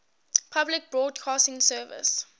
public broadcasting service